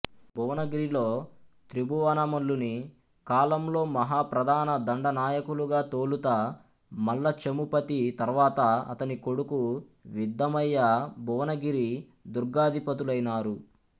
భువనగిరిలో త్రిభువనమల్లుని కాలంలో మహాప్రధాన దండనాయకులుగా తొలుత మల్లచమూపతి తర్వాత అతని కొడుకు విద్ధమయ్య భువనగిరి దుర్గాధిపతులైనారు